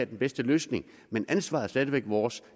den bedste løsning men ansvaret er stadig væk vores